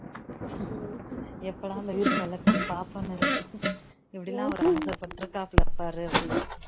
எப்போடா அந்த வீர் செல்லகுட்டிய பாப்போம்னு இருக்கு இப்படியெல்லாம் அவரு ஆசைப்பட்டுக்காப்ல பாரு அப்படின்னு